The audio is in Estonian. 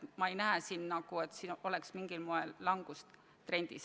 Ma ei näe, et see oleks mingil moel langustrendis.